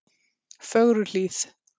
Fögruhlíð